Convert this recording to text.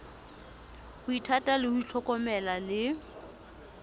ho ithata ho ithlokomela le